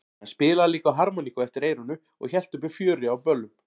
Hann spilaði líka á harmoníku eftir eyranu og hélt uppi fjöri á böllum.